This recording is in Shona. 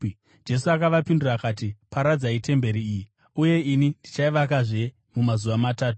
Jesu akavapindura akati, “Paradzai temberi iyi, uye ini ndichaivakazve mumazuva matatu.”